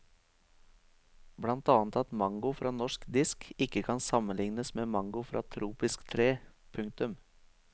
Blant annet at mango fra norsk disk ikke kan sammenlignes med mango fra tropisk tre. punktum